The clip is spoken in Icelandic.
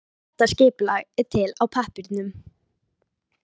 Þetta skipulag er til á pappírnum.